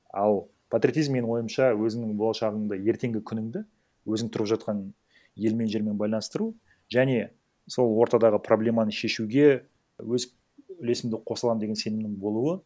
ал патриотизм менің ойымша өзінің болашағыңды ертеңгі күнінді өзің тұрып жатқан елмен жермен байланыстыру және сол ортадағы проблеманы шешуге өз үлесімді қоса аламын деген сенімнің болуы